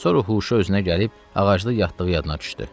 Sonra huşu özünə gəlib ağacda yatdığı yadına düşdü.